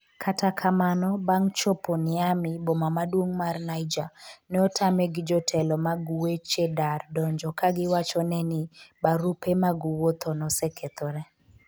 kata kamano, bang' chopo Niamey, boma maduong' mar Niger, ne otame gi jotelo mag weche dar donjo ka giwacho ne ni barupe mag wuotho nosekethore